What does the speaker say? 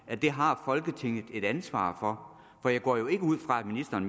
at det har folketinget et ansvar for jeg går jo ikke ud fra at ministeren